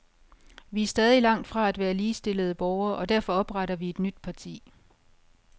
Vi er stadig langt fra at være ligestillede borgere, og derfor opretter vi et nyt parti.